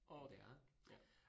Og. Ja